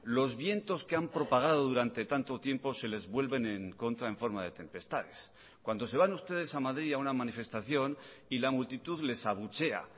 los vientos que han propagado durante tanto tiempo se les vuelven en contra en forma de tempestades cuando se van ustedes a madrid a una manifestación y la multitud les abuchea